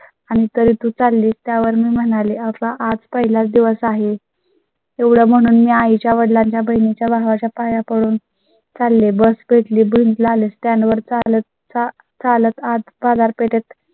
आणि तरी तू चालली त्यावर म्हणाले, आता आज पहिलाच दिवस आहे. तेवढय़ा म्हणून मी आई च्या वडिलांच्या पहिल्या भावा च्या पाया करून चालले bus पेट ली बिल आले Stand वर चालत चालत आत बाजारपेठेत